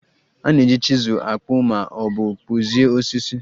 A na-eji chizul akpụ ma ọ bụ kpụzie osisi